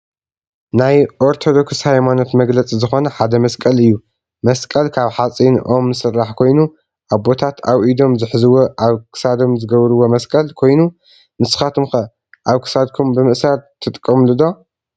ናይ አርቶዶክስ ሃይማኖት መግለፂ ዝኮነ ሓደ መስቀል እዩ። መስቀል ካብ ሓፂን ኦም ዝስራሕ ኮይኑ አቦታት አብ ኢዶም ዝሕዝዎ አብ ክሳዶም ዝገብርዎ መስቀል ኮይኑ ንሰካትኩም ከ አብ ክሳድኩም ብምእሳር ትጥቀሙሉ ዶ?